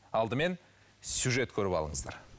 алдымен сюжет көріп алыңыздар